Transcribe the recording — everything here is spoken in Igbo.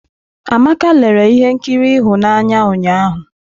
Amaka lere ihe nkiri ịhụnanya ụnyahụ.